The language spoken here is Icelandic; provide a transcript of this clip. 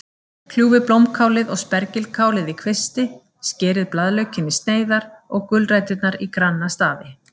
Kljúfið blómkálið og spergilkálið í kvisti, skerið blaðlaukinn í sneiðar og gulræturnar í granna stafi.